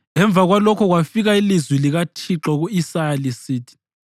Emva kwalokho kwafika ilizwi likaThixo ku-Isaya lisithi: